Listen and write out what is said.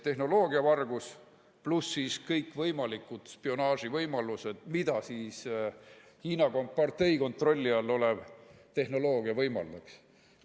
Tehnoloogiavargus pluss kõikvõimalikud spionaaživõimalused, mida Hiina kompartei kontrolli all olev tehnoloogia võimaldaks.